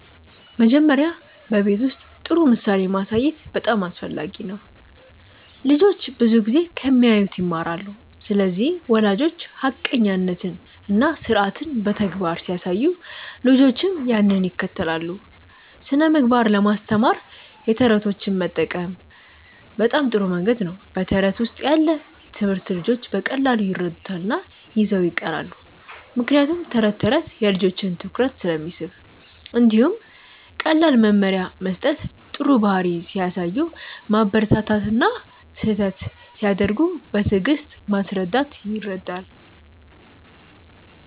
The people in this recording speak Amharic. መጀመሪያ በቤት ውስጥ ጥሩ ምሳሌ ማሳየት በጣም አስፈላጊ ነው። ልጆች ብዙ ጊዜ ከሚያዩት ይማራሉ ስለዚህ ወላጆች ሐቀኛነትን እና ስርዓትን በተግባር ሲያሳዩ ልጆችም ያንን ይከተላሉ። ስነ ምግባር ለማስተማር የተረቶች መጠቀም በጣም ጥሩ መንገድ ነው በተረት ውስጥ ያለ ትምህርት ልጆች በቀላሉ ይረዱታል እና ይዘው ይቀራሉ ምክንያቱም ተረት ተረት የልጆችን ትኩረት ስለሚስብ። እንዲሁም ቀላል መመሪያ መስጠት ጥሩ ባህሪ ሲያሳዩ ማበረታታት እና ስህተት ሲያደርጉ በትዕግስት ማስረዳት ይረዳል።